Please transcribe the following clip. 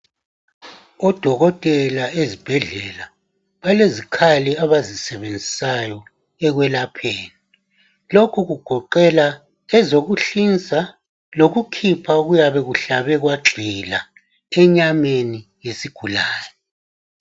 Odokotela ezibhedlela balezikhali abazisebenzisayo ekwelapheni lokhu kugoqela ezokuhlinza lokukhipha okuyabe kuhlabe kwagxila enyameni yesigulane